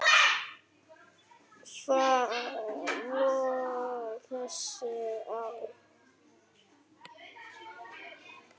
Hvað heitir þessi á?